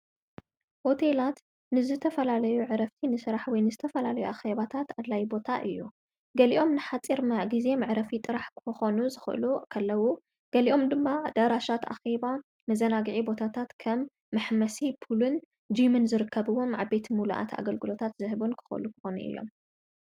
ወቴላት ንዝ ተፈላለዩ ዕረፍቲ ንሥራሕ ወይ ንዝተፈላለዩ ኣኸባታት ኣላይ ቦታ እዩ ገሊኦም ንኃጢር ማ ጊዜ ምዕረፊ ጥራሕ ኮኾኑ ዝኽእሉ ኸለዉ ገሊኦም ድም ዳራሻት ኣኺባ መዘናጊዒ ቦታታት ከም ምሕመሲ ቡልን ዲምን ዝርከብዎም ኣዕቤት ምሉእት ኣገልግሎታት ዝህቡን ክኸሉ ክኾኑ እዮም።